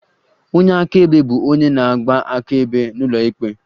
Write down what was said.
Onye akaebe bụ onye na-agba akaebe n'ụlọikpe